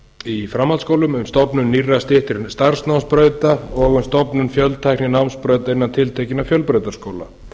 í framhaldsskólum um stofnun nýrra styttri starfsnámsbrauta og um stofnun fjöltækninámsbrauta innan tiltekinna fjölbrautaskóla